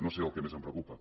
no sé el que més em preocupa